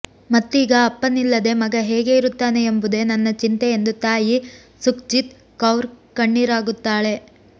ಮತ್ತೀಗ ಅಪ್ಪನಿಲ್ಲದೆ ಮಗ ಹೇಗೆ ಇರುತ್ತಾನೆ ಎಂಬುದೇ ನನ್ನ ಚಿಂತೆ ಎಂದು ತಾಯಿ ಸುಖ್ಜಿತ್ ಕೌರ್ ಕಣ್ಣೀರಾಗುತ್ತಾಳೆ